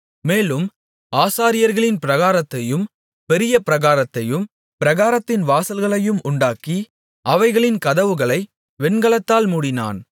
மேலும் ஆசாரியர்களின் பிராகாரத்தையும் பெரிய பிராகாரத்தையும் பிராகாரத்தின் வாசல்களையும் உண்டாக்கி அவைகளின் கதவுகளை வெண்கலத்தால் மூடினான்